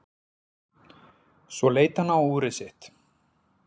Svo leit hann á úrið sitt.